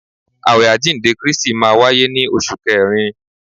Awẹ àjíǹde Kristi máa wáyé ní oṣù kẹrin.